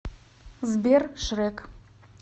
сбер шрэк